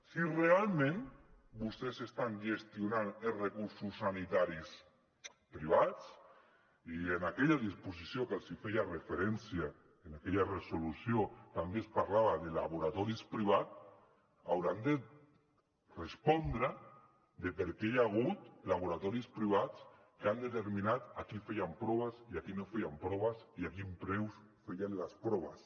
si realment vostès estan gestionant els recursos sanitaris privats i en aquella disposició que els feia referència en aquella resolució també es parlava de laboratoris privats hauran de respondre de per què hi ha hagut laboratoris privats que han determinat a qui feien proves i a qui no feien proves i a quin preu feien les proves